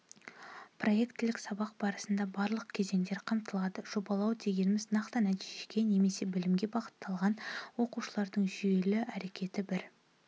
проектілік сабақ барысында барлық кезеңдер қамтылады жобалау дегеніміз-нақты нәтижеге немесе бөлімге бағытталған оқушылардың жүйелі әрекеті бір